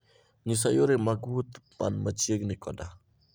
nyisa yore mag wuoth man machiegni koda